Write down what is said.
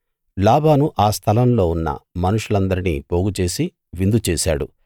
లాబాను ఆ స్థలంలో ఉన్న మనుషులందరినీ పోగుచేసి విందు చేశాడు